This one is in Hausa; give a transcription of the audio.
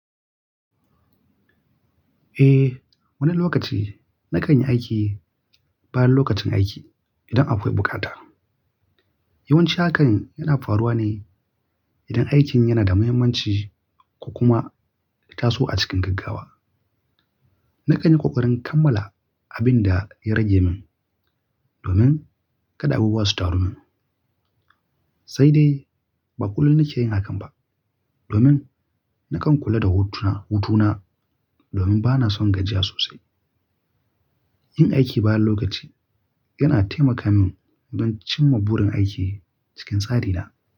Eh, wani lokaci na kan yi aiki bayan lokacin aiki idan akwai bukata. Yawanci hakan yana faruwa ne idan aikin yana da muhimmanci ko kuma ya taso a cikin gaggawa. Na kan yi kokarin kammala abin da ya rage min domin kada abubuwa su taru min. Sai dai ba kullum na ke yin hakan ba domin na kan kula da hutuna, hutuna domin ba na son gajiya sosai. Yin aiki bayan lokaci yana taimaka min don cimma burin aiki cikin tsari na.